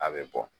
A bɛ bɔ